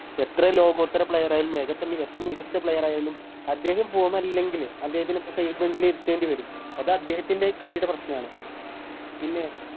എത്ര ലോകോത്തര Player ആയാലും അത് പോലെത്തന്നെ എത്ര മികച്ച Player അദ്ദേഹം Form അല്ലെങ്കിൽ അദ്ദേഹത്തിനെ Side bench ല് ഇരുത്തേണ്ടി വരും അത് അദ്ദേഹത്തിൻറെ കളിയുടെ പ്രശ്നണ് പിന്നെ